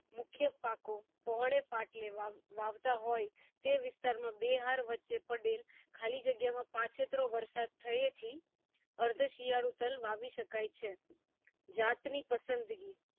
મુખ્ય પાકો પહોળે પાટલે વાવવાવતા હોય તે વિસ્તાર માં બે હર વચ્ચે પડેલ ખાલી જગ્યા માં પ પચેત્રો વરસાદ થયે થી અર્થ શિયાળુ તલ વાવી શકાય છે જાત ની પસંદગી